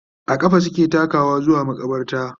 a ƙafa suke takawa zuwa maƙabarta